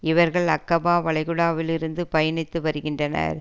இவர்கள் அக்கபா வளைகுடாவில் இருந்து பயணித்து வருகின்றனர்